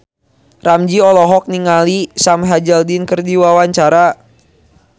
Ramzy olohok ningali Sam Hazeldine keur diwawancara